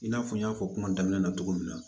I n'a fɔ n y'a fɔ kuma daminɛ na cogo min na